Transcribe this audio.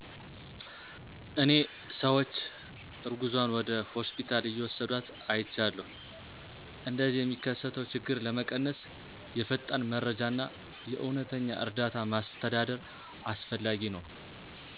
እኔ ሰዎች እርጉዝዋን ወደ ሆስፒታል እየውሰድዋት አይቻለሁ። እንደዚህ የሚከሰተው ችግር ለመቀነስ የፈጣን መረጃ እና የእውነተኛ እርዳታ ማስተዳደር አስፈላጊ ነው።